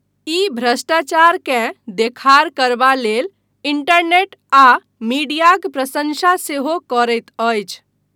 ई भ्रष्टाचारकेँ देखार करबा लेल इंटरनेट आ मीडियाक प्रशंसा सेहो करैत अछि।